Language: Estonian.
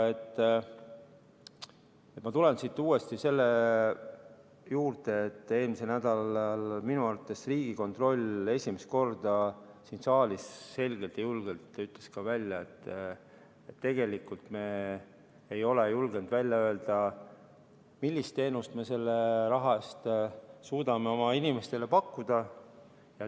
Ma tulen siit uuesti selle juurde, et eelmisel nädalal ütles Riigikontroll esimest korda siin saalis selgelt ja julgelt välja, et tegelikult me ei ole julgenud öelda, millist teenust me selle raha eest suudame oma inimestele pakkuda.